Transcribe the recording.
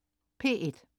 P1: